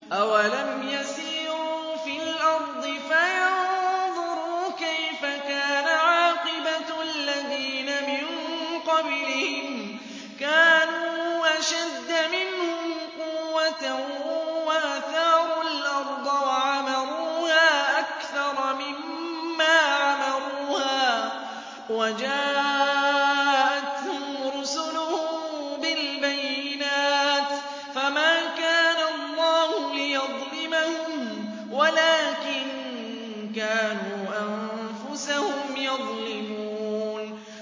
أَوَلَمْ يَسِيرُوا فِي الْأَرْضِ فَيَنظُرُوا كَيْفَ كَانَ عَاقِبَةُ الَّذِينَ مِن قَبْلِهِمْ ۚ كَانُوا أَشَدَّ مِنْهُمْ قُوَّةً وَأَثَارُوا الْأَرْضَ وَعَمَرُوهَا أَكْثَرَ مِمَّا عَمَرُوهَا وَجَاءَتْهُمْ رُسُلُهُم بِالْبَيِّنَاتِ ۖ فَمَا كَانَ اللَّهُ لِيَظْلِمَهُمْ وَلَٰكِن كَانُوا أَنفُسَهُمْ يَظْلِمُونَ